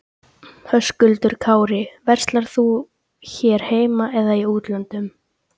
Höskuldur Kári: Verslar þú hér heima eða í útlöndum?